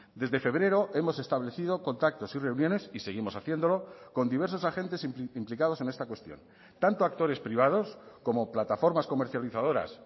desde febrero hemos establecido contactos y reuniones y seguimos haciéndolo con diversos agentes implicados en esta cuestión tanto actores privados como plataformas comercializadoras